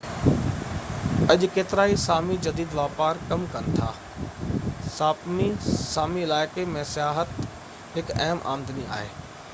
اڄ ڪيترائي سامي جديد واپار ڪم ڪن ٿا ساپمي سامي علائقي ۾ سياحت هڪ اهم آمدني آهي